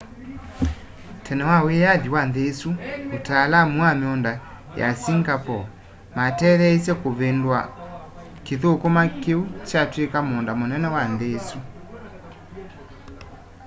tene kwa wĩyathĩ wa nthĩ ĩsũ ataalamũ ma mĩũnda ya singapore matetheeĩsye kũvĩndũa kĩthũkũma kĩũ kyatwĩkũ mũũnda mũnene wa nthĩ ĩsũ